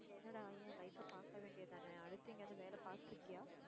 என்னடா ஏன் life அ பாக்க வேண்டியதானே. அடுத்து எங்கயாவது வேலை பாத்துருக்கியா?